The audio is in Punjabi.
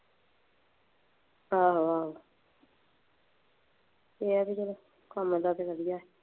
ਹਾਂ ਹਾਂ, ਕੰਮ ਤਾਂ ਵਧੀਆ।